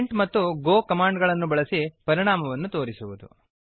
print ಮತ್ತು go command ಗಳನ್ನು ಬಳಸಿ ಪರಿಣಾಮವನ್ನು ತೋರಿಸುವುದು